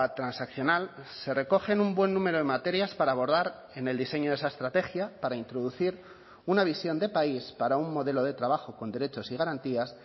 transaccional se recogen un buen número de materias para abordar en el diseño de esa estrategia para introducir una visión de país para un modelo de trabajo con derechos y garantías